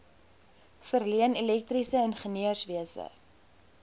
verleen elektriese ingenieurswese